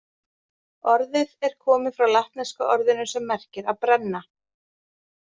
Orðið er komið frá latneska orðinu sem merkir að brenna.